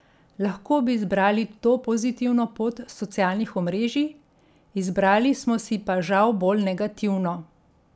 Lahko bi izbrali to pozitivno pot socialnih omrežij, izbrali smo si pa žal bolj negativno.